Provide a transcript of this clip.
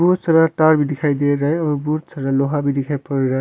बहुत सारा तार भी दिखाई दे रा है और बहुत सारा लोहा भी दिखाई पड़ रा है।